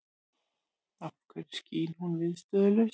Af hverju skín hún viðstöðulaust?